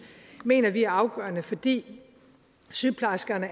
mener vi er afgørende fordi sygeplejerskerne